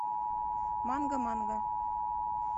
манго манго